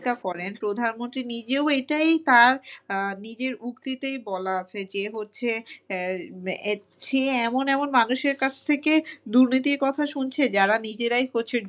চিন্তা করেন প্রধানমন্ত্রী নিজেও এইটাই তার আহ নিজের উক্তিতেই বলা আছে যে হচ্ছে আহ সে এমন এমন মানুষের কাছ থেকে দুর্নীতির কথা শুনছে যারা নিজেরাই প্রচুর!